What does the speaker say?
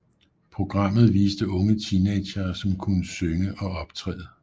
Programmet viste unge teenagere som kunne synge og optræde